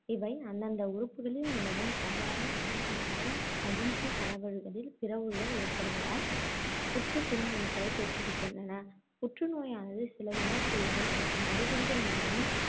இவை அந்தந்த உறுப்புகளில் நிலவும் சாதாரண குருத்தணுக்களின் பிறழ்வுகள் ஏற்படுவதால், புற்றுக் குருத்தணுக்களைத் தோற்றுவிக்கின்றன. புற்று நோயானது சில உணர்குறிகள், மற்றும் அறிகுறிகள் மூலமும்,